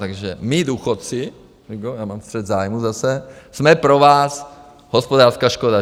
Takže my, důchodci - já mám střet zájmů zase - jsme pro vás hospodářská škoda.